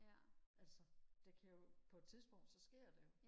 altså det kan jo på et tidspunkt så sker det jo